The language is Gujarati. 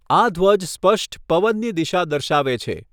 આ ધ્વજ સ્પષ્ટ પવનની દિશા દર્શાવે છે.